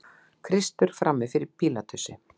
Kristur frammi fyrir Pílatusi.